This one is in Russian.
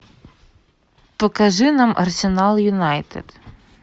покажи нам арсенал юнайтед